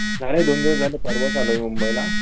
झाले दोन दिवस झाले परवाच आलोय मी मुंबई ला